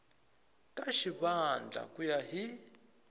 ka xivandla ku ya hi